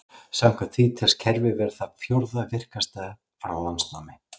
Samkvæmt því telst kerfið vera það fjórða virkasta frá landnámi.